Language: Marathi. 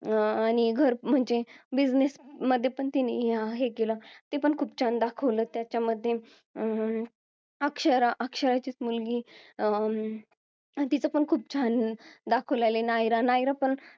अं आणि म्हणजे business मध्ये पण तिनी हे केल पण खूप छान दाखवलं त्याच्यामध्ये अं अक्षरा अक्षराचीच मुलगी अं तिचं पण खूप छान दाखवलेला आहे नायरा नायरा पण